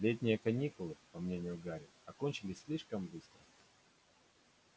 летние каникулы по мнению гарри окончились слишком быстро